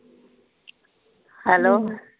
hello